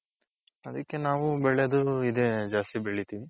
ಅದಕ್ಕೆ ನಾವು ಬೆಳೆದು ಇದೆ ಜಾಸ್ತಿ ಬೆಳಿತೀವಿ.